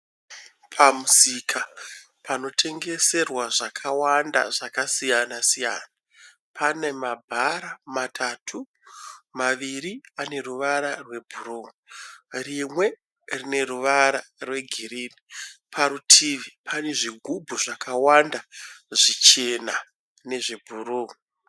Pamusika panotengeserwa zvakawanda zvakasiyana siyana. Pane mabhara matatu, maviri ane ruvara rwebhuruu rimwe rine ruvara rwegirinhi. Parutivi pane zvigubhu zvakawanda zvichena nezvebhuruu